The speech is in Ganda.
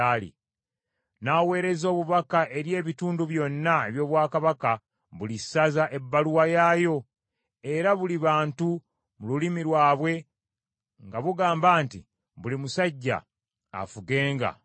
N’aweereza obubaka eri ebitundu byonna eby’obwakabaka buli ssaza ebbaluwa yaayo, era buli bantu mu lulimi lwabwe nga bugamba nti buli musajja afugenga mu nnyumba ye.